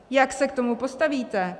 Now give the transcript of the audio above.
Jak se k tomu postavíte?